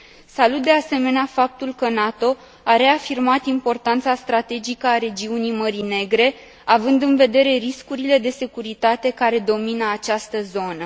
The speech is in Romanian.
Salut de asemenea faptul că NATO a reafirmat importanța strategică a regiunii Mării Negre, având în vedere riscurile de securitate care domină această zonă.